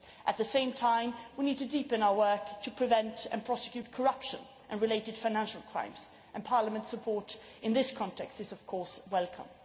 At the same time, we need to deepen our work to prevent and prosecute corruption and related financial crimes, and Parliament's support in this context is, of course, welcome.